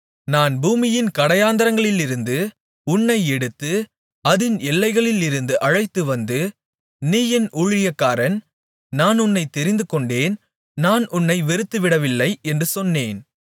நான் பூமியின் கடையாந்தரங்களிலிருந்து உன்னை எடுத்து அதின் எல்லைகளிலிருந்து அழைத்து வந்து நீ என் ஊழியக்காரன் நான் உன்னைத் தெரிந்துகொண்டேன் நான் உன்னை வெறுத்துவிடவில்லை என்று சொன்னேன்